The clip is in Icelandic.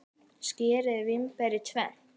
Skerið vínber í tvennt.